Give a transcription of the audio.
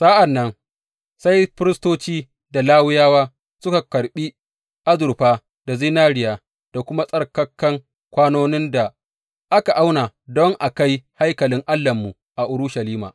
Sa’an nan sai firistoci, da Lawiyawa suka karɓi azurfa da zinariya da kuma tsarkakan kwanonin da aka auna don a kai haikalin Allahnmu a Urushalima.